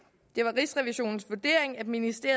næste